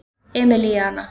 Emilíana